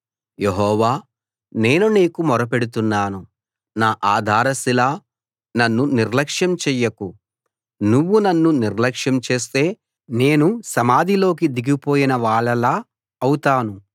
యెహోవా నేను నీకు మొరపెడుతున్నాను నా ఆధారశిలా నన్ను నిర్లక్ష్యం చెయ్యకు నువ్వు నన్ను నిర్లక్ష్యం చేస్తే నేను సమాధిలోకి దిగిపోయిన వాళ్ళలా అవుతాను